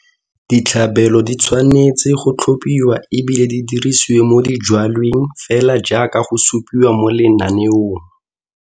Ditlhabelo di tshwanetse go tlhopiwa e bile di dirisiwe mo dijwalweng fela jaaka go supiwa mo lenaneong.